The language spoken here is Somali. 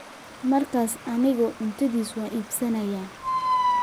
markaas anigu cuntadiisa waan iibsanayaa